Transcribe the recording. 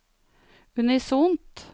unisont